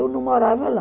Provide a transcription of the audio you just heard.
Eu não morava lá.